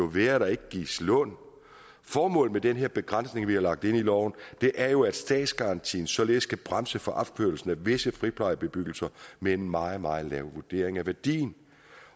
være at der ikke gives lån formålet med den her begrænsning vi har lagt ind i loven er jo at statsgarantien således kan bremse for opførelsen af visse friplejebebyggelser med en meget meget lav vurdering af værdien